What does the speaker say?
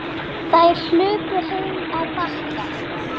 Þær hlupu heim á Bakka.